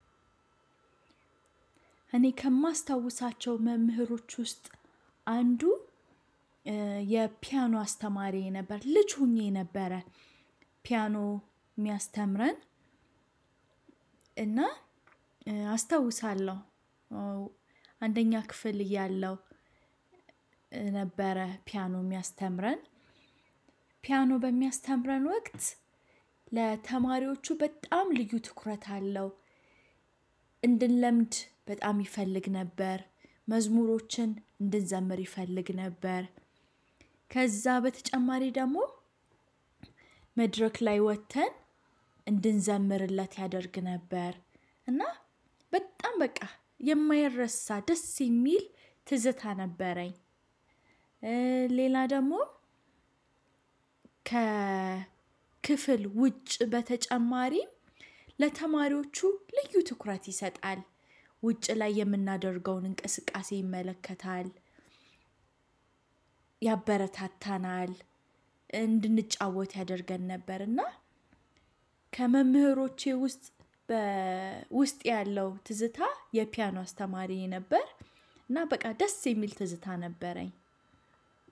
እኔ ከማስታውሳቸው መምህሮች ውስጥ አንዱ የፒያኖ አስተማሪዬ ነበር ልጅ ሆኜ ነበረ ፒያኖ ሚያስተምረን እና አስታውሳለው። አንደኛ ክፍል እያለው ነበረ። ፒያኖ ሚያስተምረን ፒያኖ በሚያስተምረን ወቅት ለተማሪዎቹ በጣም ልዩ ትኩረት አለው። እንድንለምድ በጣም ይፈልግ ነበር። መዝሙሮችን እንድንዘምር ይፈልግ ነበር። ከዛ በተጨማሪ ደሞ መድረክ ላይ ወጥተን እንድንዘምርለት ያደርግ ነበር። እና በጣም በቃ የማይረሳ ደስ የሚል ትዝታ ነበረኝ። ሌላ ደሞ ከክፍል ውጭ በተጨማሪ ለተማሪዎቹ ልዩ ትኩረት ይሰጣል ውጭ ላይ የምናደርገውን እንቅስቃሴ ይመለከታል። ያበረታታናል እንድንጫወት ያደርገን ነበር። እና ከመምህሮቼ ውስጥ በ ውስጥ ያለው ትዝታ የፒያኖ አስተማሪዬ ነበር። እና በቃ ደስ የሚል ትዝታ ነበረኝ።